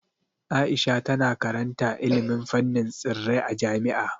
Aisha tana karanta ilimin fannin tsirrai a jami'a.